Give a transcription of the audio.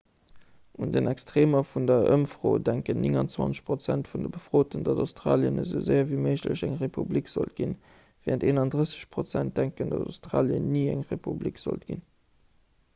un den extreemer vun der ëmfro denken 29 prozent vun de befroten datt australien esou séier ewéi méiglech eng republik sollt ginn wärend 31 prozent denken datt australien ni eng republik sollt ginn